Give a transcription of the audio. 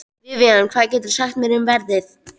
Vivian, hvað geturðu sagt mér um veðrið?